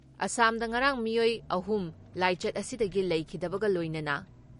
ꯑꯁꯥꯝꯗ ꯉꯔꯥꯡ ꯃꯤꯑꯣꯏ ꯑꯍꯨꯝ ꯂꯥꯏꯆꯠ ꯑꯁꯤꯗꯒꯤ ꯂꯩꯈꯤꯗꯕꯒ ꯂꯣꯏꯅꯅ